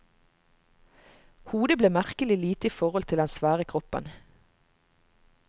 Hodet ble merkelig lite i forhold til den svære kroppen.